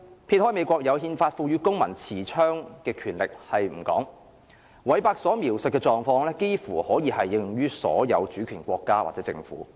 撇開美國憲法賦予公民持槍權力不談，韋伯所描述的狀況，幾乎可以應用於所有主權國家或政府。